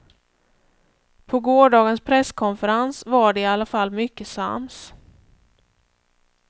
På gårdagens presskonferens var de i alla fall mycket sams.